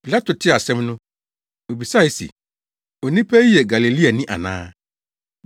Pilato tee asɛm no, obisae se, “Onipa yi yɛ Galileani ana?”